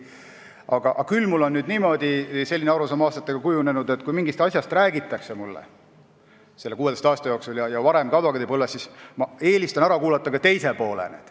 Aga aastatega – selle 16 aasta jooksul ja ka varem advokaadipõlves – on mul kujunenud küll selline arusaam, et kui mulle mingist asjast räägitakse, siis ma eelistan ära kuulata ka teise poole.